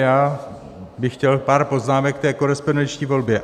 Já bych chtěl pár poznámek ke korespondenční volbě.